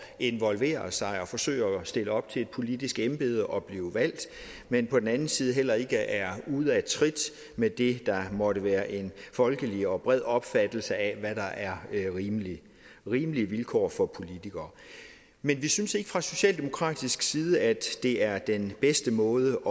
involvere sig og forsøge at stille op til et politisk embede og blive valgt men på den anden side heller ikke er ude af trit med det der måtte være en folkelig og bred opfattelse af hvad der er rimelige rimelige vilkår for politikere men vi synes ikke fra socialdemokratisk side at det er den bedste måde